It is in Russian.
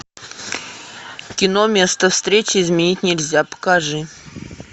кино место встречи изменить нельзя покажи